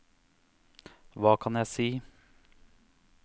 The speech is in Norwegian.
hva kan jeg si